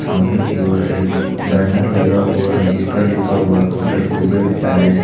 सामने की ओर एक बैनर लगा हुआ है जिस पर लिखा हुआ होटल कुबेर पैलेस ।